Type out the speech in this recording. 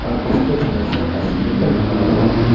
और उसके बगल से एस्कलेटर लगा हुआ है।